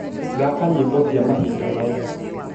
thaka nyimbo cia mahinda maya